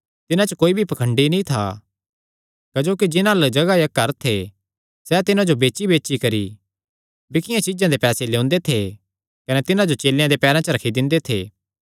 तिन्हां च कोई भी पाखंडी नीं था क्जोकि जिन्हां अल्ल जगाह या घर थे सैह़ तिन्हां जो बेचीबेची करी बिकियां चीज्जां दे पैसे लेयोंदे थे कने तिन्हां जो चेलेयां देयां पैरां च रखी दिंदे थे